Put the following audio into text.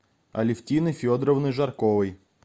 алевтиной федоровной жарковой